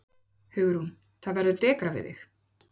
Hugrún: Það verður dekrað við þig?